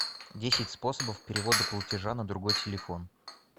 десять способов перевода платежа на другой телефон